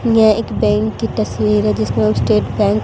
यह एक बैंक की तस्वीर है जिसने स्टेट बैंक --